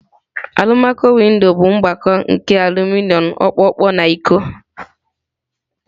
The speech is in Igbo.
Alumaco-windo bụ mgbakọ nke aluminom ọkpọkọ na iko.